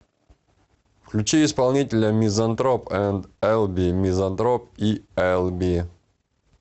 включи исполнителя мизантроп энд элби мизантроп и элби